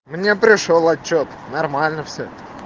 мне пришёл отчёт нормально все